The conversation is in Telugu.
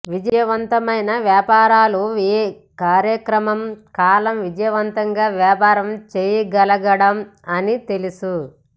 విజయవంతమైన వ్యాపారులు ఏ కార్యక్రమం కాలం విజయవంతంగా వ్యాపారం చేయగలగడం అని తెలుసు